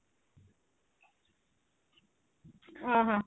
ଓ ହୋ